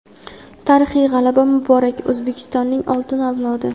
Tarixiy g‘alaba muborak, O‘zbekistonning oltin avlodi!.